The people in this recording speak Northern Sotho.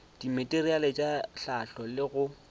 dimateriale tša hlahlo le go